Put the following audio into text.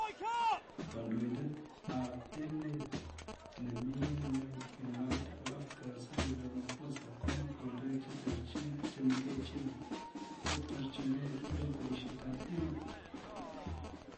Kandoindet ab emet nemii ing'uny eng mapit ab Afrika Cyril Ramaphosa komwa kandoik cheterchin chemengechen chetaretigei eng kwerishetab emet